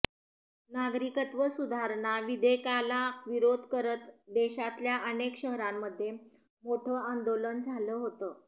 नागरिकत्व सुधारणा विधेयकाला विरोध करत देशातल्या अनेक शहरांमध्ये मोठं आंदोलन झालं होतं